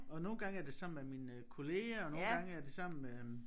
Og nogle gange er det sammen med mine kollegaer og nogle gange er det sammen med øh